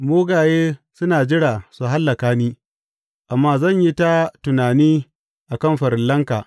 Mugaye suna jira su hallaka ni, amma zan yi ta tunani a kan farillanka.